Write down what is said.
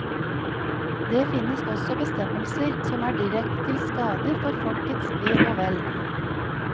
Det finnes også bestemmelser som er direkte til skade for folkets ve og vel.